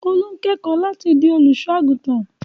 Olú ń kẹ́kọ̀ọ́ láti di olùṣọ́-àgùntàn.